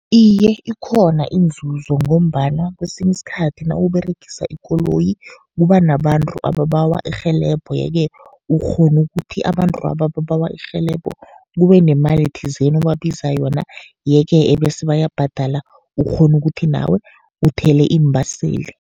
Iye, ikhona inzuzo ngombana kesinye isikhathi nawuberegisa ikoloyi, kuba nabantu ababawa irhelebho. Ye-ke ukghona ukuthi abantu laba ababawa irhelebho, kube nemali thizeni obabiza yona. Ye-ke ebese bayabhadala, ukghone ukuthi nawe uthele iimbaseli.